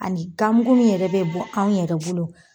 Ani gamugu min yɛrɛ bɛ bɔn anw yɛrɛ bolo